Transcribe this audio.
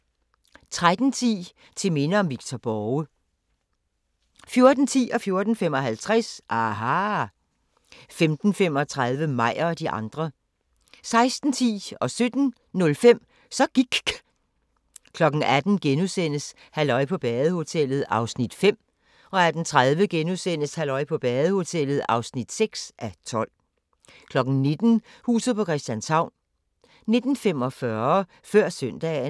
13:10: Til minde om Victor Borge 14:10: aHA! 14:55: aHA! 15:35: Meyer og de andre 16:10: Så gIKK' 17:05: Så gIKK' 18:00: Halløj på badehotellet (5:12)* 18:30: Halløj på badehotellet (6:12)* 19:00: Huset på Christianshavn 19:45: Før Søndagen